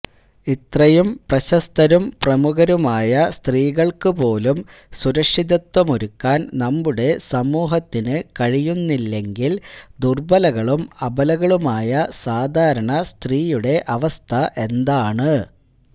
ഇത്രയും പ്രശസ്തരും പ്രമുഖരുമായ സ്ത്രീകൾക്ക് പോലും സുരക്ഷിതത്വമൊരുക്കാൻ നമ്മുടെ സമൂഹത്തിന് കഴിയുന്നില്ലെങ്കിൽ ദുർബലകളും അബലകളുമായ സാധാരണ സ്ത്രീയുടെ അവസ്ഥ എന്താണ്